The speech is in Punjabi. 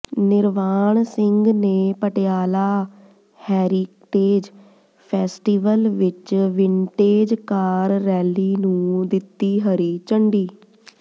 ਨਿਰਵਾਣ ਸਿੰਘ ਨੇ ਪਟਿਆਲਾ ਹੈਰੀਟੇਜ ਫੈਸਟੀਵਲ ਵਿੱਚ ਵਿੰਟੇਜ ਕਾਰ ਰੈਲੀ ਨੂੰ ਦਿੱਤੀ ਹਰੀ ਝੰਡੀ